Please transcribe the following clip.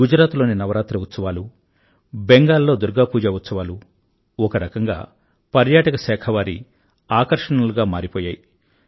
గుజరాత్ లో నవరాత్రి ఉత్సవాలు బెంగాలు లో దుర్గా పూజ ఉత్సవాలు ఒకరకంగా పర్యాటక శాఖ వారి ఆకర్షణలుగా మారిపోయాయి